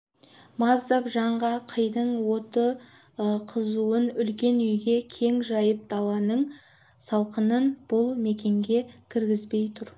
маздап жанған қидың оты қызуын үлкен үйге кең жайып даланың салқынын бұл мекенге кіргізбей тұр